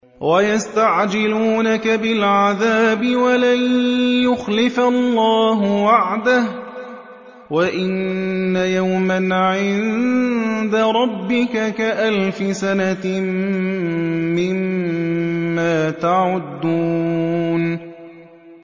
وَيَسْتَعْجِلُونَكَ بِالْعَذَابِ وَلَن يُخْلِفَ اللَّهُ وَعْدَهُ ۚ وَإِنَّ يَوْمًا عِندَ رَبِّكَ كَأَلْفِ سَنَةٍ مِّمَّا تَعُدُّونَ